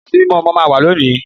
Ìyàsímímọ́ ọmọ náà wà lónìí